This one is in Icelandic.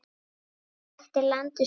Hann þekkti landið svo vel.